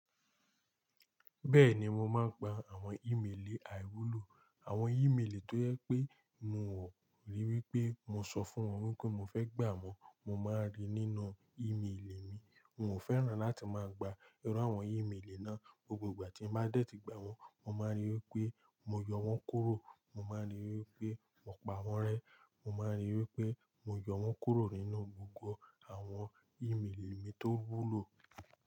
Bẹ́ẹ̀ni mo máa ń gba àwọn ímelì àìwúlò, àwọn ímelì tó yẹ pé mo wò, rí wí pé mo sọ fún wọn wípé mo fẹ́ gbà wọ́n, mo máa ń rí nínú ìmelì mi. N ò fẹ́ràn láti máa gba irú àwọn ímelì náà, gbogbo ìgbà tí n bá dẹ́ tì gbà wọ́n, mo máa ń rí wí pé mo yọ wọ́n kúrò. Mo máa ń rí wí pé mo pa wọ́n rẹ́, mo máa ń rí wí pé mo yọ wọ́n kúrò nínú gbogbo àwọn ímelì mi tó wúlò.